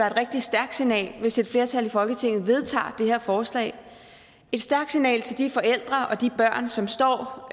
et rigtig stærkt signal at hvis et flertal i folketinget vedtager det her forslag et stærkt signal til de forældre og de børn som står